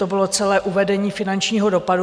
To bylo celé uvedení finančního dopadu.